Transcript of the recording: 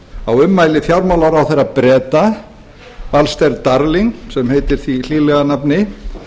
á ummæli fjármálaráðherra breta alistair darling sem heitir því hlýlega nafni